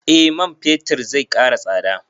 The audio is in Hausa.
Eh man fetir zai ƙara tsada